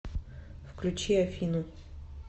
включи афину